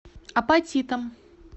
апатитам